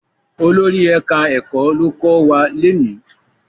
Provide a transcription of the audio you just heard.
Olórí ẹka ẹkọ ló kọ wá lóni.